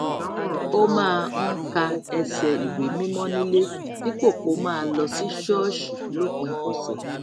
ó máa ń ka ẹsẹ ìwé mímọ́ nílé dípò kó máa lọ sí ṣóòṣì lópin ọsẹ̀